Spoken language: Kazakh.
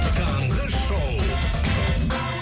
таңғы шоу